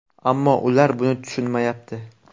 Ammo ular buni tushunmayapti.